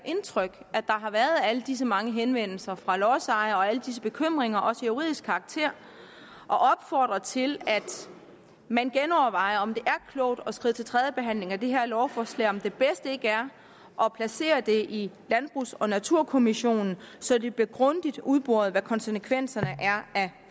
indtryk at der har været alle disse mange henvendelser fra lodsejere og alle disse bekymringer også af juridisk karakter og opfordre til at man genovervejer om det er klogt at skride til tredjebehandling af det her lovforslag eller om det bedste ikke er at placere det i landbrugs og naturkommissionen så det bliver grundigt udboret hvad konsekvenserne af